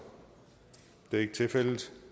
det er ikke tilfældet